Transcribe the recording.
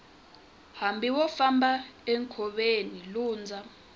hambi wo famba enkoveni lundza